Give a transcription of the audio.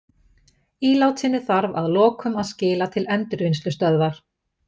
Ílátinu þarf að lokum að skila til endurvinnslustöðvar.